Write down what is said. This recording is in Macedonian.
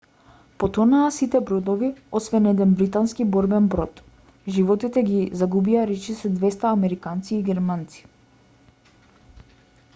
потонаа сите бродови освен еден британски борбен брод животите ги загубија речиси 200 американци и германци